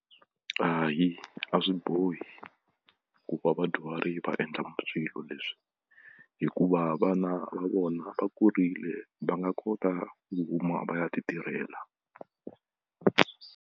Hayi a swi bohi ku va vadyuhari va endla swilo leswi hikuva vana va vona va kurile va nga kota ku huma va ya ti tirhela.